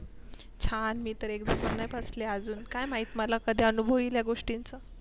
छान मी तर एकदा पण नाही बसली अजून काय महित मला कधी अनुभव येईल गोष्टीचा